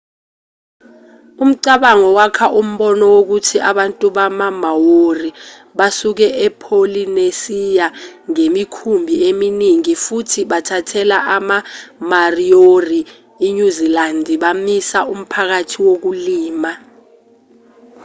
umcabango wakha umbono wokuthi abantu bama-maori basuke epholinesiya ngemikhumbi eminingi futhi bathathela ama-mariori inyuzilandi bamisa umphakathi wokulima